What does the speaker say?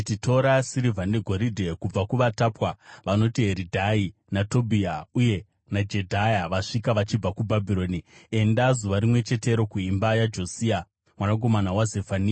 “Tora sirivha negoridhe kubva kuvatapwa vanoti Heridhai, naTobhiya uye naJedhaya, vasvika vachibva kuBhabhironi. Enda, zuva rimwe chetero, kuimba yaJosia mwanakomana waZefania.